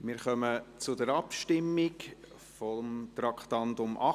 Wir kommen zur Abstimmung über das Traktandum 18.